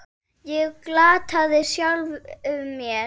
Ég glataði sjálfum mér.